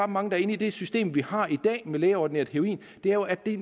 mange inde i det system vi har i dag med lægeordineret heroin er jo at de